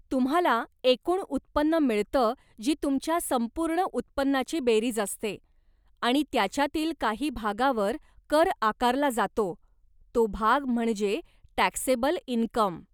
तुम्हाला एकूण उत्पन्न मिळत जी तुमच्या संपूर्ण उत्पन्नाची बेरीज असते, आणि त्याच्यातील काही भागावर कर आकारला जातो तो भाग म्हणजे टॅक्सेबल इनकम.